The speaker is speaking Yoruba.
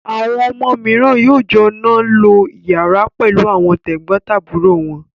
Àwọn ọmọ mìíràn yóò jọ náà lo ìyàrá pẹ̀lú àwọn tẹ̀gbọ́ntàbúrò wọn.